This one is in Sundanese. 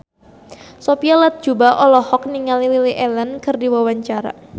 Sophia Latjuba olohok ningali Lily Allen keur diwawancara